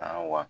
Aa wa